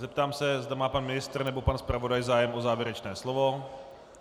Zeptám se, zda má pan ministr nebo pan zpravodaj zájem o závěrečné slovo.